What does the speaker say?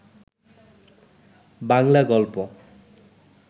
বাংলা গল্প